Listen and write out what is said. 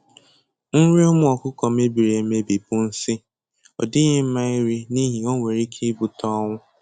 Nrị ụmụ ọkụkụ mebiri emebi bụ nsi, ọ dịghị mma iri n'ihi o nwere ike ibute ọnwụ